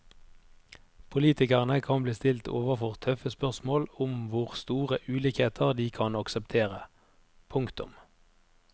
Politikerne kan bli stilt overfor tøffe spørsmål om hvor store ulikheter de kan akseptere. punktum